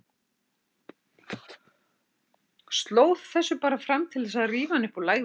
Sló þessu bara fram til þess að rífa hann upp úr lægðinni.